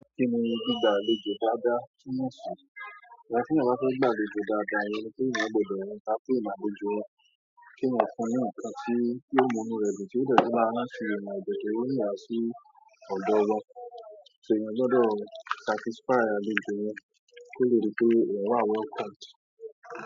Kí ni gbígba àlejò dáadáa tí wọ́n sùn? Ẹni tí yóò bá fẹ́ gbàgbé àlejò dáadáa ni wípé òun yóò gbọdọ̀ rántí ìlànà ojú ọ̀rọ̀ kí ó máa fún un àtàbí kí ó mú inú rẹ̀ dùn tí ó bẹ́ẹ̀ kí ó máa rántí ìmùlẹ̀ tòun yá sí ọ̀jọ̀ wọn. Ṣé èèyàn gbọdọ̀ satisfy àlejò wọn kí ó lè rí pé ìwà wa work out?